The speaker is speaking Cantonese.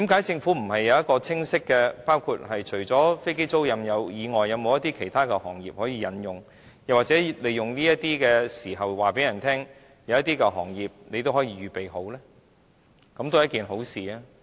政府為何不是有清晰計劃，除了飛機租賃以外，是否有其他行業可以引用，或利用這些時候告訴人，當局都可以預備開拓一些其他行業呢？